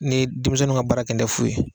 Ni denmisɛnw ka baara kɛni tɛ fu ye.